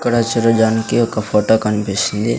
ఇక్కడ చూడదానికి ఒక ఫొటో కన్పిస్తుంది.